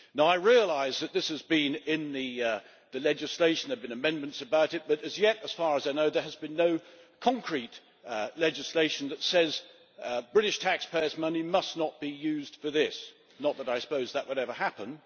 I realise that this has been in the legislation there have been amendments about it but as yet, as far as I know, there has been no concrete legislation that says British taxpayers' money must not be used for this not that I suppose that would ever happen.